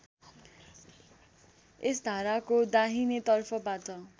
यस धाराको दाहिनेतर्फबाट